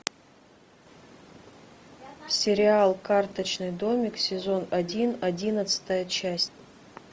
сериал карточный домик сезон один одиннадцатая часть